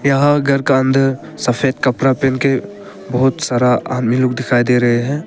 यहां घर का अंदर सफेद कपड़ा पहन के बहुत सारा आदमी लोग दिखाई दे रहे हैं।